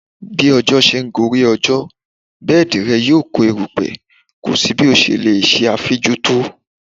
Bí ọjọ́ ṣe ń gorí ọjọ́, bẹ́ẹ̀di rẹ yóò kó eruku kò sí bí o ṣe lè ẹ afínjú tó.